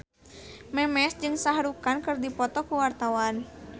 Memes jeung Shah Rukh Khan keur dipoto ku wartawan